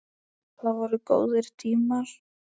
Það voru góðir tímar.